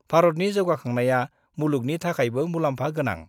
भारतनि जौगाखांनाया मुलुगनि थाखायबो मुलाम्फा गोनां।